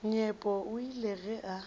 nyepo o ile ge a